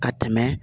Ka tɛmɛ